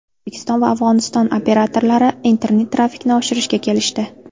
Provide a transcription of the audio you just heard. O‘zbekiston va Afg‘oniston operatorlari internet-trafikni oshirishga kelishdi.